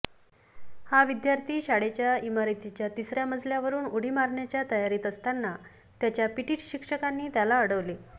हा विद्यार्थी शाळेच्या इमारतीच्या तिसऱ्या मजल्यावरून उडी मारण्याच्या तयारीत असताना त्याच्या पीटी शिक्षकांनी त्याला अडवले